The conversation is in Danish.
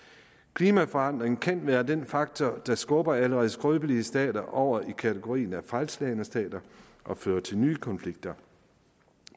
klimaforandring kan være den faktor der skubber allerede skrøbelige stater over i kategorien af fejlslagne stater og fører til nye konflikter